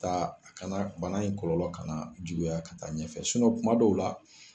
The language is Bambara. Taa a kana bana in kɔlɔlɔ ka na juguya ka taa ɲɛfɛ kuma dɔw la